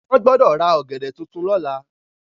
Wọ́n gbọdọ̀ ra ogẹ̀dẹ̀ tuntun lọ́la.